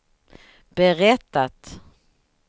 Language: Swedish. berättat